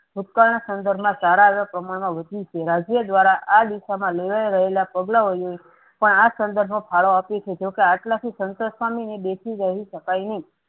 ભૂતકાળના સંદર્ભમાં સારા એવા પ્રમાણમાં વધયુ છે. રાજ્ય દ્વારા આ દિશામાં લેવાયા રહેલા પગલાંઓ નું પણ આ સંદર્ભ માં ફાળો આપ્યું છે. જોકે આટલાથી સાન્તોસ પામીને બેસી શકાય નહિ.